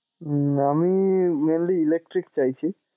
উম আমি mainly electric চাইছি।